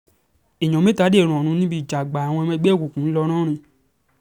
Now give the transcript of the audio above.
èèyàn mẹ́ta dèrò ọ̀run níbi ìjà àgbà àwọn ọmọ ẹgbẹ́ òkùnkùn